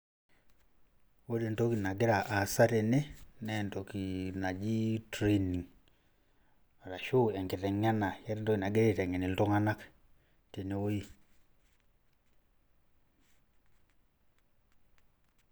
Ore entoki nagira aasa tene, na entoki naji training. Arashu enkiteng'ena, eeta entoki nagirai aiteng'en iltung'anak tenewei.